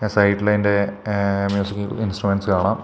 സൈഡില് അയിൻറെ എഹ് മ്യൂസിക്കൽ ഇൻസ്ട്രുമെന്റ്സ് കാണാം.